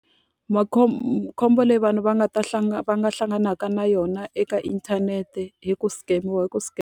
khombo leyi vanhu va nga ta va nga hlanganaka na yona eka inthanete i ku scam-iwa i ku .